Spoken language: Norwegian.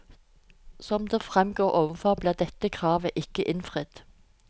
Som det fremgår overfor, ble dette kravet ikke innfridd.